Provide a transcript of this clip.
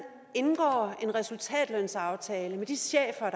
indgår en resultatlønsaftale med de chefer